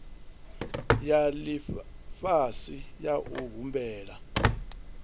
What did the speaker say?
ya lifhasi ya u humbula